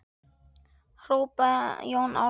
hrópaði Jón Ármann.